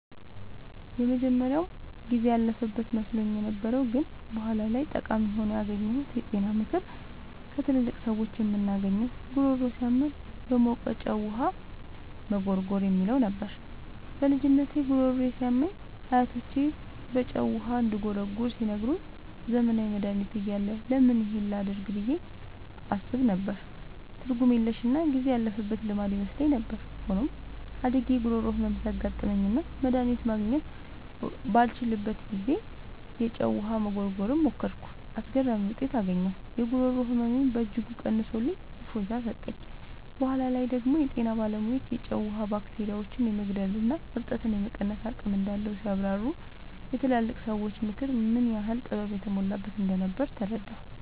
የመጀመሪያው ጊዜ ያለፈበት መስሎኝ የነበረው ግን በኋላ ላይ ጠቃሚ ሆኖ ያገኘሁት የጤና ምክር ከትላልቅ ሰዎች የምናገኘው "ጉሮሮ ሲያመን በሞቀ ጨው ውሃ መጉርጎር" የሚለው ነበር። በልጅነቴ ጉሮሮዬ ሲያመኝ አያቶቼ በጨው ውሃ እንድጉርጎር ሲነግሩኝ፣ ዘመናዊ መድሃኒት እያለ ለምን ይህን ላደርግ ብዬ አስብ ነበር። ትርጉም የለሽና ጊዜ ያለፈበት ልማድ ይመስለኝ ነበር። ሆኖም፣ አድጌ የጉሮሮ ህመም ሲያጋጥመኝና መድሃኒት ማግኘት ባልችልበት ጊዜ፣ የጨው ውሃ መጉርጎርን ሞከርኩ። አስገራሚ ውጤት አገኘሁ! የጉሮሮ ህመሜን በእጅጉ ቀንሶልኝ እፎይታ ሰጠኝ። በኋላ ላይ ደግሞ የጤና ባለሙያዎች የጨው ውሃ ባክቴሪያዎችን የመግደልና እብጠትን የመቀነስ አቅም እንዳለው ሲያብራሩ፣ የትላልቅ ሰዎች ምክር ምን ያህል ጥበብ የተሞላበት እንደነበር ተረዳሁ።